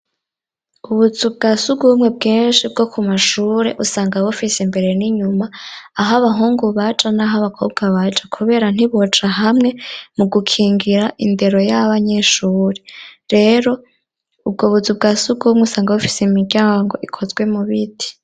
Ubuzu bwa sugumwe bwinshi bwo ku mashure usanga bufise imbere n'inyuma aho abahungu baja n'aho abakobwa baja kubera ntiboja hamwe mu gukingira indero y'abanyeshure, rero ubwobuzu bwasugumwe usanga bufise imiryango ikozwe mu biti.